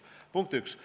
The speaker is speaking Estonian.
See oli punkt üks.